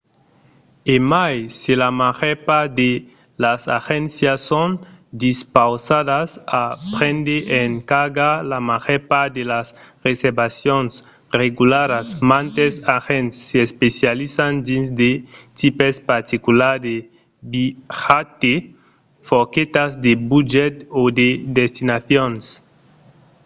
e mai se la màger part de las agéncias son dispausadas a prendre en carga la màger part de las reservacions regularas mantes agents s’especializan dins de tipes particulars de viatge forquetas de budget o de destinacions